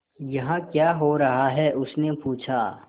यहाँ क्या हो रहा है उसने पूछा